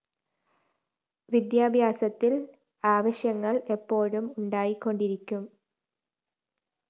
വിദ്യാഭ്യാസത്തില്‍ ആവശ്യങ്ങള്‍ എപ്പോഴും ഉണ്ടായിക്കൊണ്ടിരിക്കും